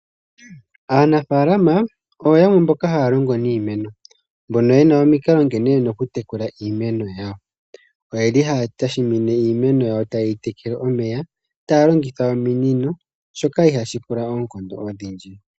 Aanafalama oyo yamwe mboka haa longo niimeno mbono yena omikala nkene yena oku tekela iimeno yawo oyeli haa tekele iimeno yawo taa longitha ominino shoka shili ihaa shi pula oonkondo odhindji.